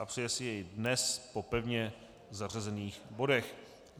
A přeje si jej dnes po pevně zařazených bodech.